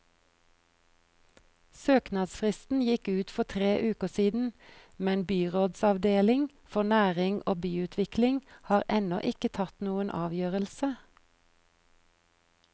Søknadsfristen gikk ut for tre uker siden, men byrådsavdeling for næring og byutvikling har ennå ikke tatt noen avgjørelse.